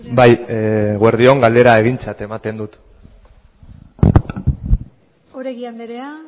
bai eguerdi on galdera egintzat ematen dut oregi andrea